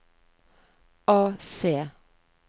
AC